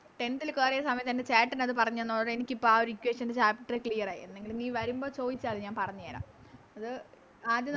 Tenth ല് കേറിയ സമയത്ത് എൻറെ ചേട്ടനത് പറഞ്ഞ് തന്നതോടെ എനിക്കത് ഇപ്പൊ ആ Equation ൻറെ chapter clear ആയി നീ വരുമ്പോ ചോയിച്ചതി ഞാൻ പറഞ്ഞേരം അത് ആദ്യം